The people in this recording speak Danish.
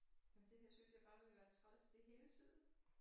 Men det her synes jeg bare ville være træls det hele tiden